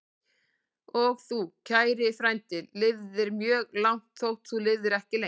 Og þú, kæri frændi, lifðir mjög langt, þótt þú lifðir ekki lengi.